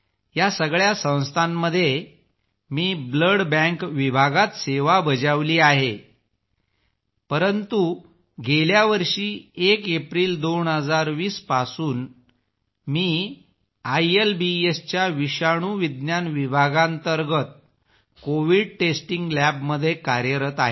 या सगळ्या संस्थांमध्ये मी ब्लड बँक विभागात सेवा बजावली आहे परंतु गेल्या वर्षी 1 एप्रिल 2020 पासून मी आयएलबीएसच्या विषाणूविज्ञान विभागांतर्गत कोविड टेस्टिंग लॅबमध्ये कार्यरत आहे